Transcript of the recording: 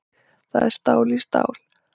Það er stál í stál